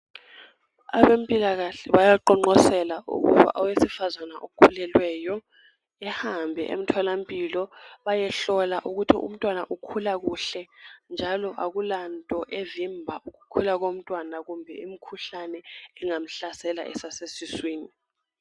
Abempilakahle bayaqonqosela ukuba owesifazane okhulelweyo ehambe emtholampilo bayehlola ukuthi umntwana ukhula kuhle njalo akulanto evimba ukukhula komntwana kumbe imikhuhlane engamhlasela esasesiswini.